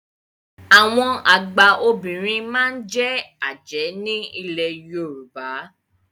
Àwọn àgba Obìnrin máa n je Aje ní ilẹ̀ Yorùbá.